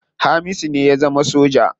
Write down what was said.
Hamisu ne ya zama soja.